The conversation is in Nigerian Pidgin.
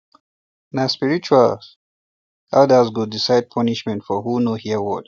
na spiritual elders go decide punishment for who no hear word